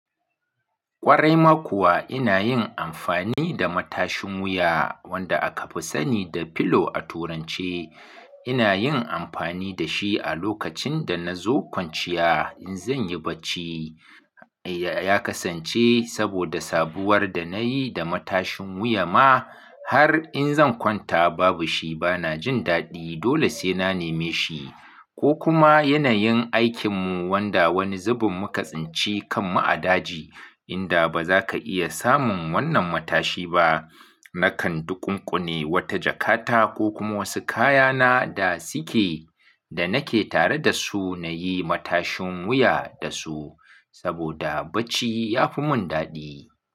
Ƙwarai ma kuwa ina yin amfani da matashin wuya wanda aka fi sani da pillow a turanci. Ina yin amfani da shi a lokacin da na zo kwanciya in zan yi bacci. Ya kasance saboda sabuwar da na yi da matashin wuya ma har in zan kwanta babu shi bana jin daɗi. Dole sai na neme shi ko kuma yanayin aikinmu wanda wani zubin muka tsinci kan mu a daji inda baza ka iya samun wannan matashi ba. Nakan duƙunƙune wata jakata ko kuma wasu kayana da suke da nake tare da su na yi matashin wuya da su saboda bacci ya fi mun daɗi.